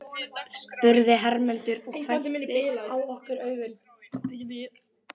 spurði Hermundur og hvessti á okkur augun.